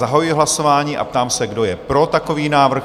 Zahajuji hlasování a ptám se, kdo je pro takový návrh?